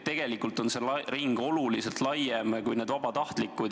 Tegelikult on asjaosaliste ring oluliselt laiem kui need vabatahtlikud.